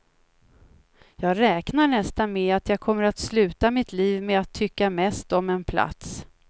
Jag räknar nästan med att jag kommer att sluta mitt liv med att tycka mest om en plats.